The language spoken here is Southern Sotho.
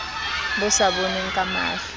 bo sa bonweng ka mahlo